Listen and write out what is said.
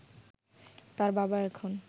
তার বাবা এখন